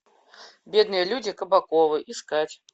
бедные люди кабаковы искать